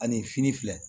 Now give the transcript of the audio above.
Ani fini filɛ